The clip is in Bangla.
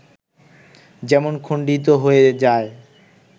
যেমন খণ্ডিত হয়ে যায়